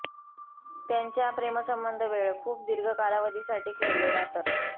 त्यांच्या प्रेमसंबंध वेळ खूप दीर्घ कालावधीसाठी खेळलेला तर